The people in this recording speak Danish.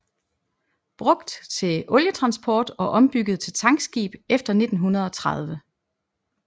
Brugt til olietransport og ombygget til tankskib efter 1930